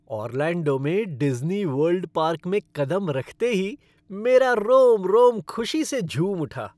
Orlando में Disney world park में कदम रखते ही मेरा रोम रोम खुशी से झूम उठा।